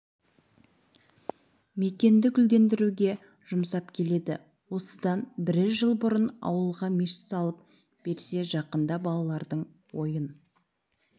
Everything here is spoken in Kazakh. мекенді гүлдендіруге жұмсап келеді осыдан бірер жыл бұрын ауылға мешіт салып берсе жақында балалардың ойын